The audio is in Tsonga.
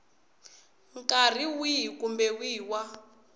nkarhi wihi kumbe wihi wa